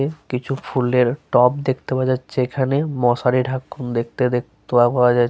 কিছু ফুলের টব দেখতে পাওয়া যাচ্ছে এখানে। মশারি ঢাক দেখতে দে পাওয়া যা --